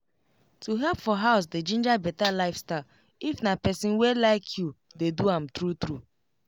to help for house dey ginger better lifestyle if na person wey like you dey do am true true